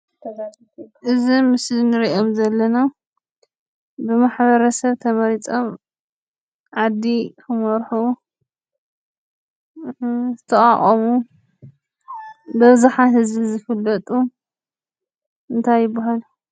እዚ ኣብ ምስሊ ንሪኦም ዘለና ብማሕበረሰብ ተመሪፆም ዓዲ ክመርሑ ዝተቋቖሙ ብኣብዝሓ ህዝቢ ዝፍለጡ እንታይ ይበሃሉ?